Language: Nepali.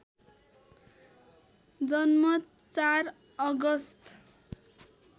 जन्म ४ अगस्ट